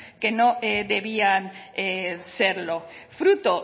que no debían serlo fruto